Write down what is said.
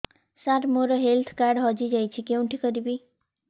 ସାର ମୋର health card ହଜି ଯାଇଛି କେଉଁଠି କରିବି